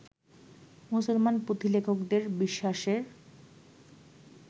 মুসলমান পুঁথিলেখকদের বিশ্বাসের